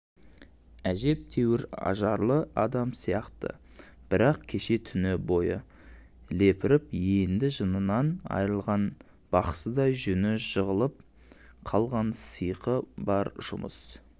әжептәуір ажарлы адам сияқты бірақ кеше түні бойы лепіріп енді жынынан айырылған бақсыдай жүні жығылып қалған сиқы баржұмыс